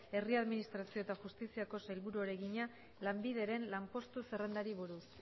herri administrazio eta justizia sailburuari egina lanbideren lanpostuen zerrendari buruz